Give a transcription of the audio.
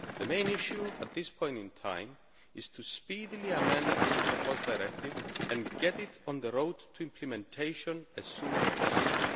The main issue at this point in time is to speedily amend the proposed directive and get it on the road to implementation as soon as possible.